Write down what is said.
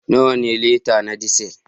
Nawa ne lita na Diesel?